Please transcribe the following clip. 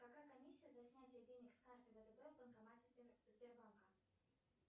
какая комиссия за снятие денег с карты втб в банкомате сбербанка